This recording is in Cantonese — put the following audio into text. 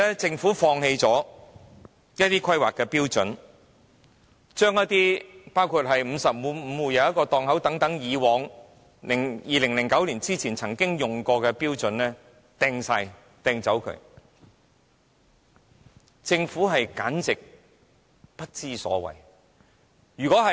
政府放棄了一些規劃標準，包括為每55戶設1個檔位，將這些於2009年前曾經採用的標準全部置之不理，簡直不知所謂。